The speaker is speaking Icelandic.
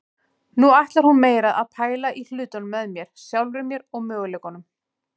Nú ætlar hún meira að pæla í hlutunum með mér, sjálfri mér og möguleikunum.